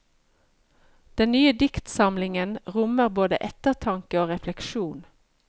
Den nye diktsamlingen rommer både ettertanke og refleksjon.